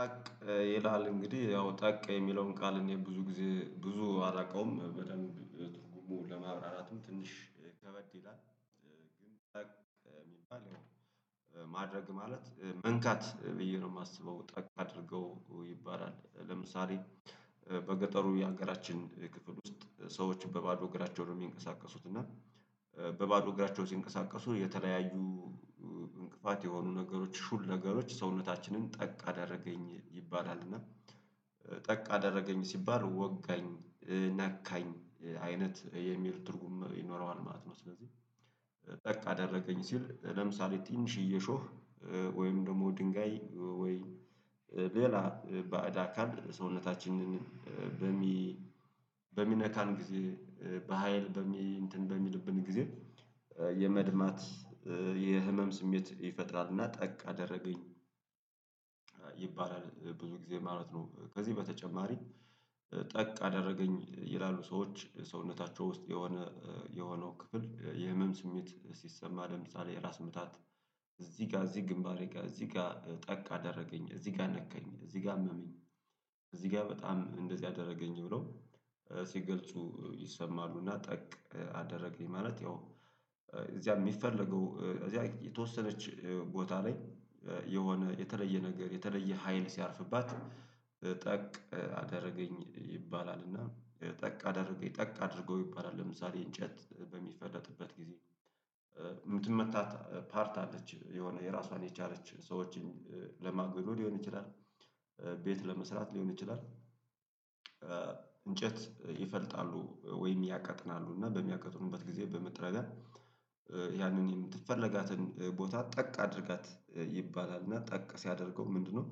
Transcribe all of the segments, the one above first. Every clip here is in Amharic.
ጠቅ ይላል እንግዲህ ያው ጠቅ የሚለውን ቃል እኔ ብዙ ጊዜ ብዙ አላቀውም በደንብ ትርጉሙ ለማብራራትም ትንሽ ከበድ ይላል። ግን ጠቅ የሚባል ማድረግ ማለት መንካት ብዬ ነው የማስበው ጠቅ አድርገው ይባላል ለምሳሌ በገጠሩ የሀገራችን ክፍል ውስጥ ሰዎች በባዶ እግራቸው ነው የሚንቀሳቀሱት እና በባዶ እግራቸው ሲንቀሳቀሱ የተለያዩ እንቅፋት የሆኑ ነገሮች ሹል ነገሮች ሰውነታችንን ጠቅ አደረገኝ ይባላል እና ጠቅ አደረገኝ ሲባል ወጋኝ ነካኝ አይነት የሚሉ ትርጉም ይኖረዋል ማለት ነው። ስለዚህ ጠቅ አደረገኝ ሲል ለምሳሌ ትንሽዬ የሾህ ወይም ደግሞ ድንጋይ ወይ ሌላ ባዕድ አካል ሰውነታችንን በሚነካን ጊዜ በሃይል እንትን በሚልብን ጊዜ የመድማት የህመም ስሜት ይፈጥራል እና ጠቅ አደረገኝ ይባላል ብዙ ጊዜ ማለት ነው። ከዚህ በተጨማሪ ጠቅ አደረገኝ ይላሉ ሰዎች ሰውነታቸው ውስጥ የሆነ የሆነው ክፍል የህመም ስሜት ሲሰማ ለምሳሌ የራስ ምታት እዚህ ጋር እዚህ ግንባሬ ጋር እዚህ ጋር ጠቅ አደረገኝ እዚህ ጋር ነካኝ እዚህ ጋር አመመኝ እዚህ ጋር በጣም እንደዚህ አደረገኝ ብሎ ሲገልጹ ይሰማሉ እና ጠቅ አደረገኝ ማለት ያው እዚያ የሚፈለገው እዚያ የተወሰነች ቦታ ላይ የሆነ የተለየ ነገር የተለየ ሀይል ሲያርፍባት ጠቅ አደረገኝ ይባላል። እና ጠቅ አደረገኝ ጠቅ አድርገው ይባላል ለምሳሌ እንጨት በሚፈለጥበት ጊዜ የምትመታ ፓርት አለች የሆነ የራሷን የቻለች ሰዎችን ለማጎዶ ሊሆን ይችላል ቤት ለመስራት ሊሆን ይችላል። እንጨት ይፈልጣሉ ወይም ያቀጥናሉ እና በሚያቀጥኑበት ጊዜ በመጥረቢያ ያንን የምትፈልጋትን ቦታ ጠቅ አድርጋት ይባላል እና ጠቅ ሲያደርገው ምንድነው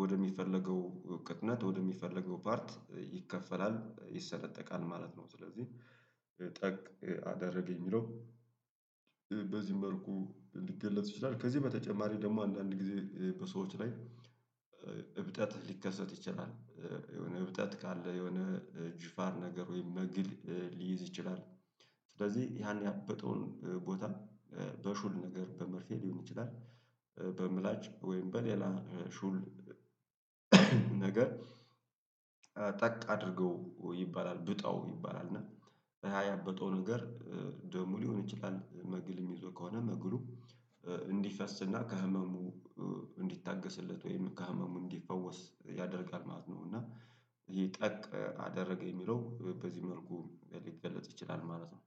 ወደሚፈለገው እውቀትነት ወደሚፈለገው ፓርት ይከፈላል ይሰለጠቃል ማለት ነው። ስለዚህ ጠቅ አደረገ የሚለው በዚህ መልኩ ሊገለጽ ይችላል። ከዚህ በተጨማሪ ደግሞ አንዳንድ ጊዜ በሰዎች ላይ እብጠት ሊከሰት ይችላል የሆነ እብጠት ካለ የሆነ ጅፋር ነገር ወይም መግል ሊይዝ ይችላል። ስለዚህ ያን ያበጠውን ቦታ በሹል ነገር በመርፌ ሊሆን ይችላል። በምላጭ ወይም በሌላ ሹል ነገር ጠቅ አድርገው ይባላል ብጣው ይባላል እና ያበጠው ነገር ደም ሊሆን ይችላል መግል የሚይዘው ከሆነ መግሉ እንዲፈስና ከህመሙ እንዲታገስለት ወይም ከህመሙ እንዲፈወስ ያደርጋል ማለት ነው። እና ይሄ ጠቅ አደረገ የሚለው በዚህ መልኩ ሊገለጽ ይችላል ማለት ነው።